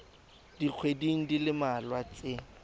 dikgweding di le mmalwa tse